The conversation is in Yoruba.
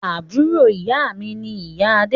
Àbúrò ìyá mi ni ìyá Adé